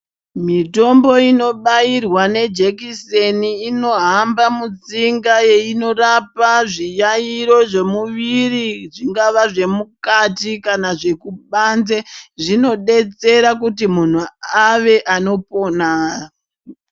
Mitombo inobayirwa nejekiseni inohamba mutsinga yeinorapa zviyayiro zvemuviri zvingava zvemukati kana kubanze zvinodetsera kuti munhu ave anopona